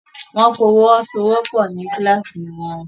Wọ́n fọwọ́sowọ́pọ̀ ní kíláàsì wọn